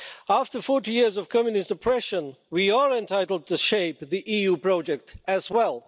After 40 years of Communist oppression, we are entitled to shape the EU project as well.